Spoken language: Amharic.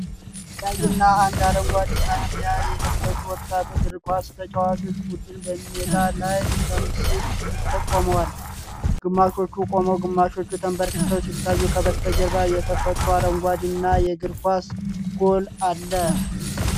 ቀይና አንድ አረንጓዴ ማልያ የለበሱ ወጣት እግር ኳስ ተጫዋቾች ቡድን በሜዳ ላይ ለምስል ቆመዋል። ግማሾቹ ቆመው ግማሾቹ ተንበርክከው ሲታዩ፣ ከበስተጀርባ የተፈጥሮ አረንጓዴና የእግር ኳስ ጎል አለ።